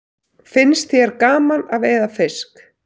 Finnst þér gaman að veiða fisk?